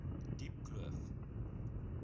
diepkloof